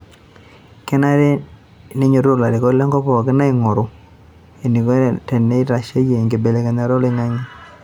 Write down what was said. Kenare neinyoto ilarikok le nkop pookin ainguru eneiko tenitasheyie enkibelekenyata oloingange